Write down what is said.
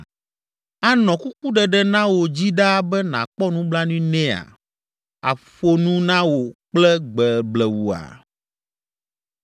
Anɔ kukuɖeɖe na wò dzi ɖaa be nàkpɔ nublanui nɛa? Aƒo nu na wò kple gbe blewua?